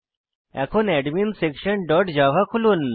এখন adminsectionজাভা খুলুন